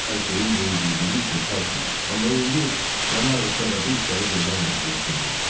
Çox ərköyün böyüdüldüyü üçün tərs idi, amma indi canı ağrısa da bu işləri görmək məcburiyyətində idi.